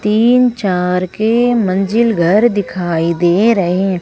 तीन चार के मंजिल घर दिखाई दे रहे है।